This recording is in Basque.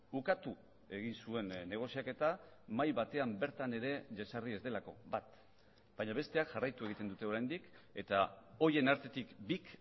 ukatu egin zuen negoziaketa mahai batean bertan ere jesarri ez delako bat baina besteak jarraitu egiten dute oraindik eta horien artetik bik